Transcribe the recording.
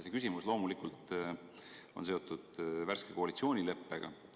See küsimus loomulikult on seotud värske koalitsioonileppega.